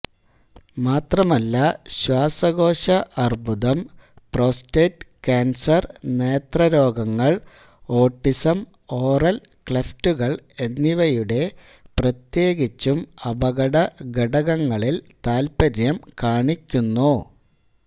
മാത്രമല്ല ശ്വാസകോശ അർബുദം പ്രോസ്റ്റേറ്റ് കാൻസർ നേത്രരോഗങ്ങൾ ഓട്ടിസം ഓറൽ ക്ലെഫ്റ്റുകൾ എന്നിവയുടെ പ്രത്യേകിച്ചും അപകട ഘടകങ്ങളിൽ താൽപ്പര്യം കാണിക്കുന്നു